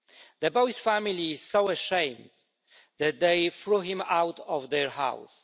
The boy's family is so ashamed that they threw him out of their house.